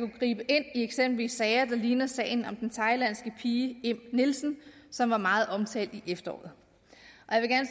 gribe ind i eksempelvis sager der ligner sagen om den thailandske pige im nielsen som var meget omtalt i efteråret